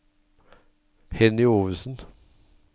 Henny Ovesen